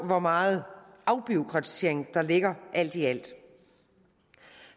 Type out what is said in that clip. hvor meget afbureaukratisering der ligger alt i alt